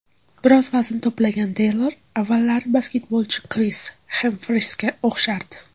Biroz vazn to‘plagan Teylor, avvallari basketbolchi Kris Xemfrisga o‘xshardi.